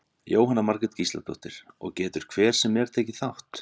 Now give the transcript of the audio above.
Jóhanna Margrét Gísladóttir: Og getur hver sem er tekið þátt?